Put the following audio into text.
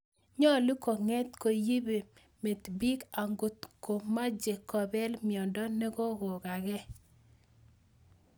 Nyolu kong�et ko yibe met biik ankot komaache kobeel myondo nekokokakee